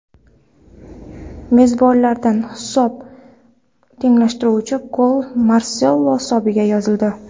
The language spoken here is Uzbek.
Mezbonlardan hisob tenglashtiruvchi gol Marselo hisobiga yozildi.